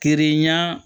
Keren ɲan